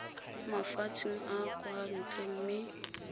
mafatsheng a kwa ntle mme